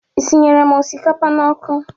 Isinyere m osikapa n'ọkụ?